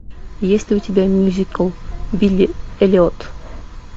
есть ли у тебя мюзикл билли эллиот